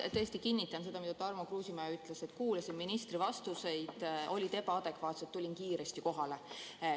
Ma tõesti kinnitan seda, mida Tarmo Kruusimäe ütles, et kuulasin ministri vastuseid, need olid ebaadekvaatsed, tulin kiiresti kohale.